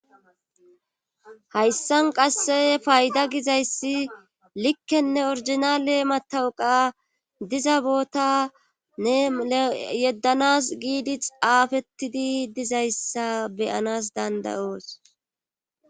Hayssan qasse fayda gizayssi likkenne orjnale matawuqa diza bootanne yeddanas giidi xaafettidi dizayssa beyanas dandayoos